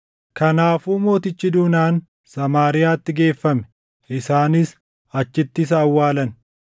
Kanaafuu mootichi duunaan Samaariyaatti geeffame; isaanis achitti isa awwaalan.